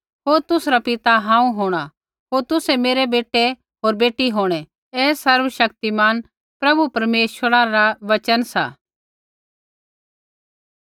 होर तुसरा पिता हांऊँ होंणा होर तुसै मेरै बेटै होर बेटी होंणै ऐ सर्वशक्तिमान प्रभु परमेश्वरै रा वचन सा